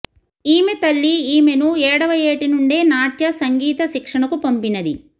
ఈమె తల్లి ఈమెను ఏడవఏటి నుండే నాట్య సంగీత శిక్షణకు పంపినది